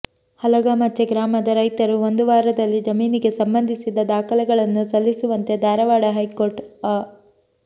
ಹಲಗಾ ಮಚ್ಛೆ ಗ್ರಾಮದ ರೈತರು ಒಂದು ವಾರದಲ್ಲಿ ಜಮೀನಿಗೆ ಸಂಬಂಧಿಸಿದ ದಾಖಲೆಗಳನ್ನು ಸಲ್ಲಿಸುವಂತೆ ಧಾರವಾಡ ಹೈಕೋರ್ಟ್ ಅ